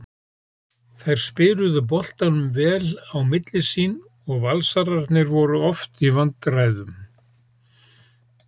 Þær spiluðu boltanum vel á milli sín og Valsararnir voru oft í vandræðum.